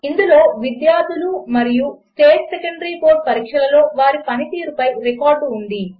ఇందులో విద్యార్థులు మరియు స్టేట్ సెకండరీ బోర్డ్ పరీక్షలలో వారి పనితీరు పై రికార్డు ఉంది